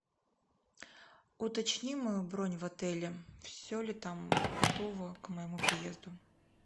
уточни мою бронь в отеле все ли там готово к моему приезду